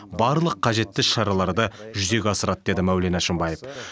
барлық қажетті іс шараларды жүзеге асырады деді мәулен әшімбаев